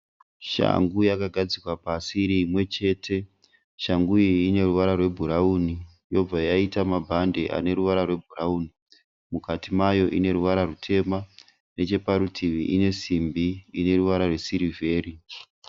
Shangu yakagadzikwa pasi iri imwe chete. Shangu iyi ine ruvara rwebhurawuni yobva yaita mabhande ane ruvara rwebhurawuni. Mukati mayo ine ruvara rutema. Necheparutivi ine simbi ine ruvara rwesirivheri.